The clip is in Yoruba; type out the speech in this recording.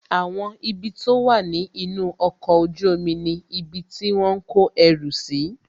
Àwọn ibi tó wà ní inú ọkọ̀ ojú omi ni ibi tí wọ́n ń kọ ẹrù si